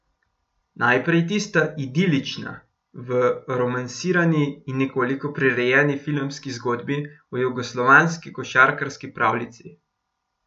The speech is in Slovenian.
Najprej tista idilična, v romansirani in nekoliko prirejeni filmski zgodbi o jugoslovanski košarkarski pravljici.